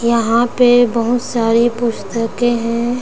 यहाँ पे बहुत सारी पुस्तके है ।